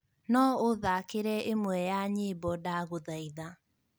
No ũthakĩre ĩmwe ya nyĩmbo ndagũthaitha